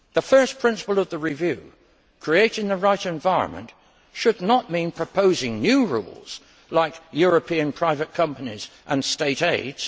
The first principle of the review creating a right environment should not mean proposing new rules such as European private companies and state aids.